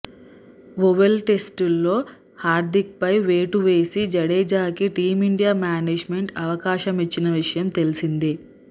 oval టెస్టులో హార్థిక్పై వేటు వేసి జడేజాకి టీమిండియా మేనే జ్మెంట్ అవకాశ మిచ్చిన విషయం తెలిసిందే